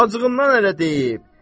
Acığından elə deyib.